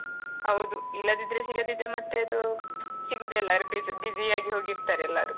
ಹೌದು ಇಲ್ಲದಿದ್ರೆ ಸಿಗದಿದ್ರೆ ಮತ್ತೆ ಅದು ಸಿಗುವುದೇ ಇಲ್ಲ bis~ busy ಆಗಿ ಹೋಗಿರ್ತಾರೆ ಎಲ್ಲರು.